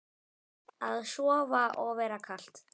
Að sofa og vera kalt.